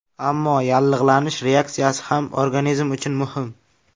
Ammo yallig‘lanish reaksiyasi ham organizm uchun muhim.